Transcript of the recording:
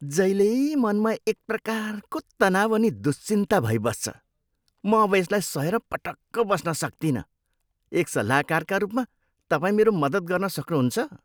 जहिल्यै मनमा एक प्रकारको तनाउ अनि दुश्चिन्ता भइबस्छ। म अब यसलाई सहेर पटक्क बस्न सक्तिनँ। एक सल्लाहकारका रूपमा तपाईँ मेरो मद्दत गर्न सक्नुहुन्छ?